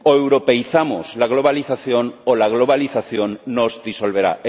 O europeizamos la globalización o la globalización nos disolverá.